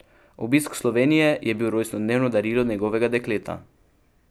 Obisk Slovenije je bil rojstnodnevno darilo njegovega dekleta.